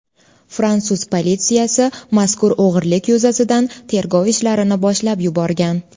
Fransuz politsiyasi mazkur o‘g‘irlik yuzasidan tergov ishlarini boshlab yuborgan.